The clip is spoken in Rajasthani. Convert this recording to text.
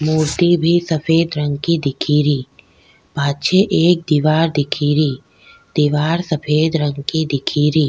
मूर्ति भी सफ़ेद रंग की दिख री पाछे एक दिवार दिख री दिवार सफ़ेद रंग की दिखेरी।